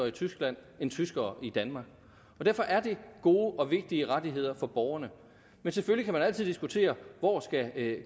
i tyskland end tyskere i danmark og derfor er det gode og vigtige rettigheder for borgerne men selvfølgelig kan man altid diskutere hvor